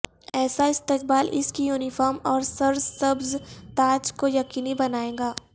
ایسا استقبال اس کی یونیفارم اور سرسبز تاج کو یقینی بنائے گا